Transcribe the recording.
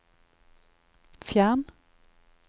fjern